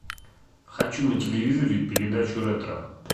хочу на телевизоре передачу ретро